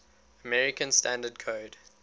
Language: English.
american standard code